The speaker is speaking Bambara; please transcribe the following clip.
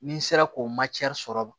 N'i sera k'o sɔrɔ